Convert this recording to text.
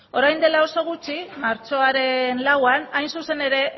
orain dela oso gutxi martxoaren lauan hain zuzen ere